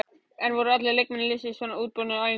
En voru allir leikmenn liðsins svona útbúnir á æfingunni?